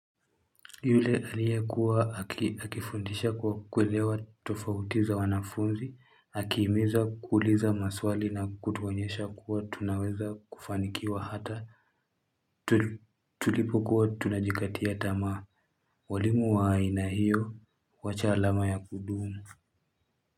Yule aliye kuwa akifundisha kwa kuelewa tofauti za wanafunzi akihimiza kuuliza maswali na kutuonyesha kuwa tunaweza kufanikiwa hata tulipokuwa tunajikatia tamaa walimu wa aina hiyo huacha alama ya kudumu.